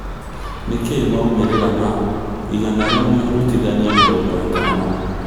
nĩ kĩĩ maũmĩrira ma ĩgana rĩmwe rũtithania mĩrongo ĩtano